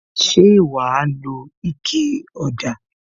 Ṣé wa lo ike ọ̀dà?